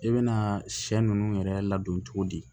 I bɛna sɛ ninnu yɛrɛ ladon cogo di